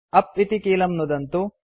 उप् इति कीलं नुदन्तु